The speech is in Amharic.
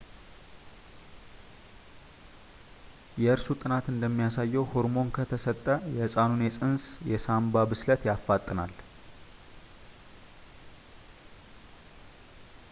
የእርሱ ጥናት እንደሚያሳየው ሆርሞን ከተሰጠ የሕፃኑን የፅንስ የሳንባ ብስለት ያፋጥናል